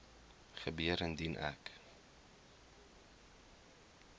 gebeur indien ek